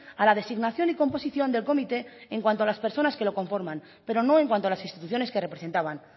a la designación y composición del comité en cuanto a las personas que lo conforman pero no en cuanto a las instituciones que representaban